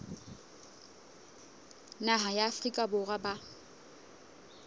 naha ya afrika borwa ba